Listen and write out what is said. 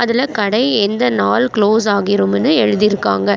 அதுல கடை எந்த நாள் க்ளோஸ் ஆகிரும்முனு எழுதிருக்காங்க.